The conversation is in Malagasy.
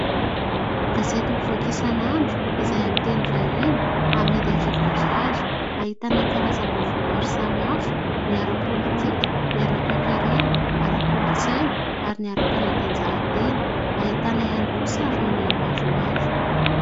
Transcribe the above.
Gazety mivoaka isan'andro izay amin'ny teny vahiny, amidy arivo ariary. Ahitana karazam-baovao maro samihafa ny ara-pôlitika, ny ara-toe-karena, ara-kolontsaina, ary ny ara-panatanjahantena. Ahitana ihany koa sarin'olona maromaro.